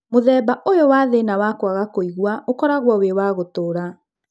Mũthemba ũyũ wa thĩna wa kwaga kũigua ũkoragwo wĩ wa gũtũra